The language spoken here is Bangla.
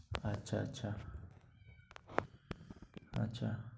আচ্ছা আচ্ছা। আচ্ছা।